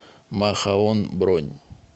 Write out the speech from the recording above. махаон бронь